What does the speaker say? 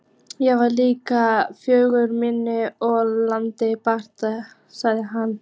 Ég var lík föður mínum og tilbað hann.